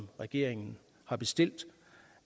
regeringen har bestilt